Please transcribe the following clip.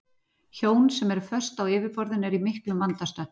Hjón sem eru föst á yfirborðinu eru í miklum vanda stödd.